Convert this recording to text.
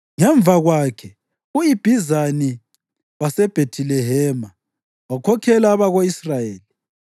Ngemva kwakhe, u-Ibhizani waseBhethilehema wakhokhela abako-Israyeli.